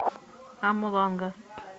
амуланга